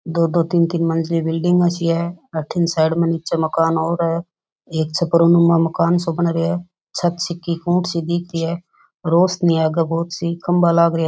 दो दो तीन तीन मंजिली बिल्डिंगा सी है अठीन साइड में नीचे मकान और है एक छपरो नुमा मकान सो बन रहयो है छत सी की कुंट सी दिख री है रोशनी आगे बहोत सी खम्भा लाग रेया है।